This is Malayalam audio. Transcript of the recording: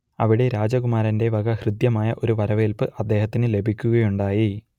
അവിടെ രാജകുമാരന്റെ വക ഹൃദ്യമായ ഒരു വരവേൽപ്പ് അദ്ദേഹത്തിന് ലഭിക്കുകയുണ്ടായി